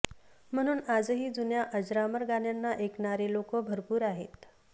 म्हणून आजही जुन्या अजरामर गाण्यांना ऐकणारे लोकं भरपूर आहेत